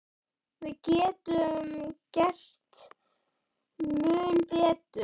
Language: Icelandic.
Við getum gert mun betur.